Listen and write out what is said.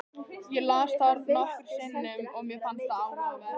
Ég las það nokkrum sinnum og mér fannst það áhugavert.